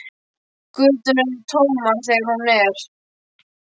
Göturnar eru tómar þegar hún er.